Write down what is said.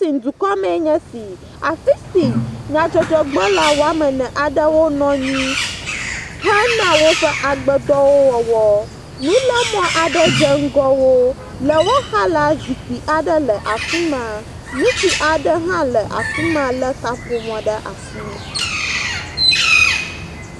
Tin dukɔa mee nye si. Afi si nyadzɔdɔgblɔla wɔme ene aɖewo nɔ anyi hena woƒe agbedɔwɔwɔ. Nulemɔ aɖe dze ŋgɔ wo. Le woxa la zikpui aɖe le afi ma. Ŋutsu aɖe hã le afi ma le kaƒomɔ ɖe asi.